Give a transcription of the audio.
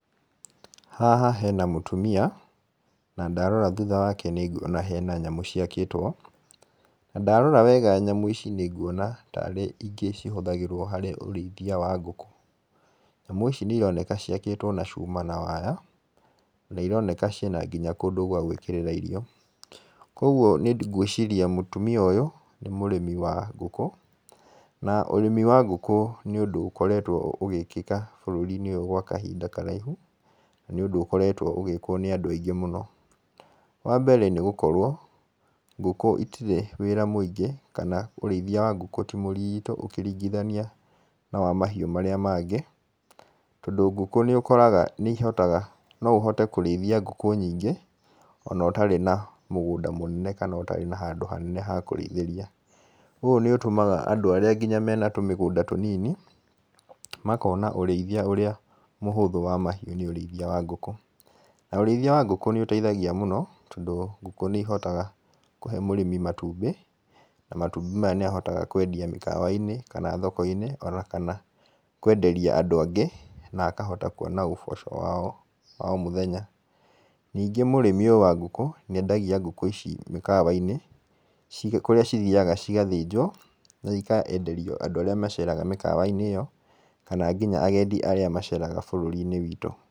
Haha hena mũtumia na ndarora thutha wake nĩ nguona hena nyamũ ciakĩtwo. Na ndarora wega nyamũ ici nĩ nguoana tarĩ ingĩ cihuthagĩrwo harĩ ũrĩithia wa ngũkũ. Nyamũ ici nĩ ironeka ciakĩtwo na cuma na waya na nĩ ironeka ciĩna nginya kũndũ gwa gwĩkĩrĩra irio. Koguo nĩ ngwĩciria mũtumia ũyũ nĩ mũrĩmi wa ngũkũ. Na ũrĩmi wa ngũkũ nĩ ũndũ ũkoretwo ũgĩĩkĩka bũrũri-inĩ ũyũ gwa kahinda karaihu na nĩ ũndũ ũkoretwo ũgĩkwo nĩ andũ aingĩ mũno. Wa mbere ngũkũ itirĩ wĩra mũingĩ kana ũrĩithia wa ngũkũ ti mũritũ ũkĩringithania na wa mahiũ marĩa mangĩ. Tondũ ngũkũ nĩ ũkoraga nĩ ihotaga no ũhote kũrĩithia ngũkũ nyingĩ ona ũtarĩ na mũgũnda mũnene kana ũtarĩ na handũ hanene ha kũrĩithĩria. Ũũ nĩ ũtũmaga andũ arĩa nginya mena tũmĩgũnda tũnini makona nginya ũrĩithia ũrĩa mũhũthũ wa mahiũ nĩ ũrĩithia wa ngũkũ. Na ũrĩithia wa ngũkũ nĩ ũteithagia mũno tondũ ngũkũ nĩ ihotaga kũhe mũrĩmi matumbĩ na matumbĩ maya nĩ ahotaga kwendia mũkawa-inĩ kana thoko-inĩ ona kana kwenderia andũ angĩ na akahota kuona ũboco wa o mũthenya. Ningĩ mũrĩmi ũyũ wa ngũkũ nĩ endagia ngũkũ ici mĩkawa-inĩ, cirĩ kũrĩa cithiaga cigathĩnjwo na ikenderio andũ arĩa maceraga mĩkawa-inĩ ĩyo, kana nginya agendi arĩa maceraga bũrũri-inĩ witũ